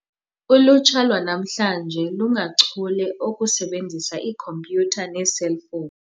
Ulutsha lwanamhlanje lungachule okusebenzisa iikhompyutha neeselfowuni.